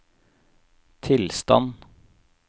tilstand